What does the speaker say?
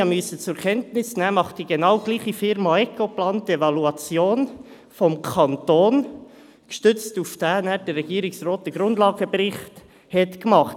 Wie ich habe zur Kenntnis nehmen müssen, macht dieselbe Firma Ecoplan die Evaluation des Kantons, und gestützt darauf hat der Regierungsrat den Grundlagenbericht erstellt.